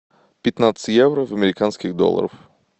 пятнадцать евро в американских долларах